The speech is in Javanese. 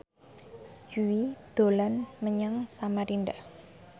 Jui dolan menyang Samarinda